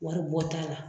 Wari bɔ t'a la